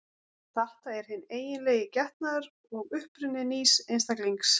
Þetta er hinn eiginlegi getnaður og uppruni nýs einstaklings.